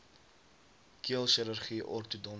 keel chirurgie ortodontiese